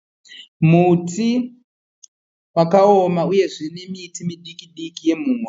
Muti wakaoma uyezve nemiti midiki diki yemuhwa.